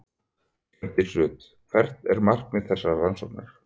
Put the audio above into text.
Hjördís Rut: Hvert er markmið þessarar rannsóknar?